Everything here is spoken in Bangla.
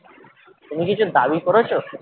তুমি কিছু দাবী করেছো?